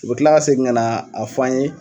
U bɛ tila ka segin ka na a fɔ an' ye